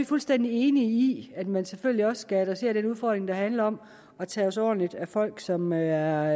fuldstændig enige i at man selvfølgelig også skal adressere den udfordring der handler om at tage sig ordentligt af folk som er